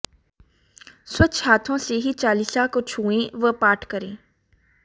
स्वच्छ हाथों से ही चालीसा को छुएं व पाठ करें